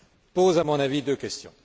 pose à mon avis deux questions.